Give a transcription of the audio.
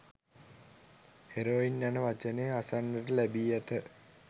heroin යන වචනය අසන්නට ලැබි ඇත